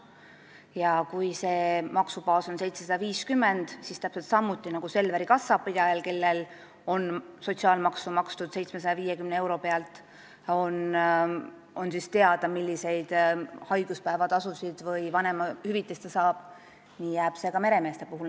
Ja kui neil on maksubaas 750 eurot, siis täpselt samuti nagu Selveri kassapidajal, kelle puhul on sotsiaalmaksu makstud 750 euro pealt ja kellele on teada, millist haiguspäevatasu või vanemahüvitist ta saab, jääb see nii ka meremeeste puhul.